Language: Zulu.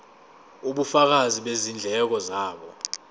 ubufakazi bezindleko zabo